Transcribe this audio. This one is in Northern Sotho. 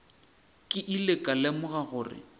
ke ile ka lemoga gore